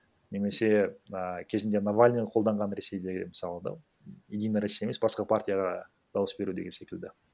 немесе а кезінде навальный қолданған ресейдегі мысалы да единая россия емес басқа партияға дауыс беру деген секілді